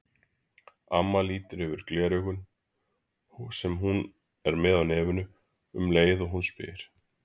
Amma lítur yfir gleraugun, sem hún er með á nefinu, um leið og hún spyr.